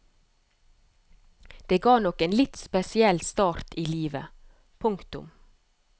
Det ga nok en litt spesiell start i livet. punktum